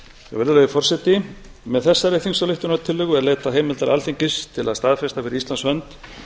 virðulegi forseti með þessari þingsályktunartillögu er leitað heimildar alþingis til að staðfesta fyrir íslands hönd